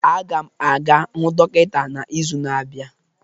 Aga m aga hụ dọkịta n'izu na-abịa